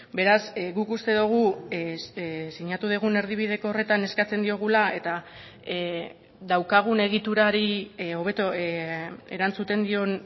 beraz guk uste dugu sinatu dugun erdibideko horretan eskatzen diogula eta daukagun egiturari hobeto erantzuten dion